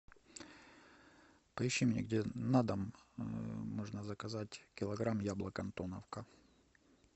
поищи мне где на дом можно заказать килограмм яблок антоновка